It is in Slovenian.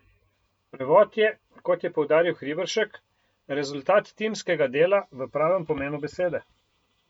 Prevod je, kot je poudaril Hriberšek, rezultat timskega dela v pravem pomenu besede.